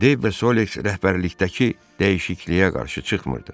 Dey və Soliks rəhbərlikdəki dəyişikliyə qarşı çıxmırdı.